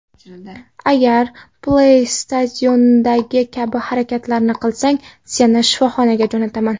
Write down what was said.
Agar Play Station’dagi kabi harakatlarni qilsang, seni shifoxonaga jo‘nataman”.